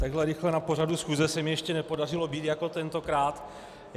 Tak rychle na pořadu schůze se mi ještě nepodařilo být jako tentokrát.